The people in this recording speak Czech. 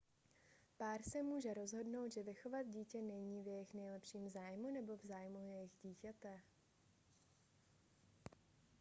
pár se může rozhodnout že vychovat dítě není v jejich nejlepším zájmu nebo v zájmu jejich dítěte